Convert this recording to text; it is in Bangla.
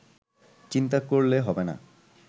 চিন্তা করলে হবেনা